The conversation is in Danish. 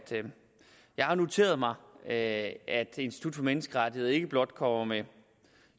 jeg har noteret mig at institut for menneskerettigheder ikke blot kommer med